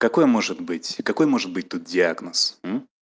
какой может быть и какой может быть тут диагноз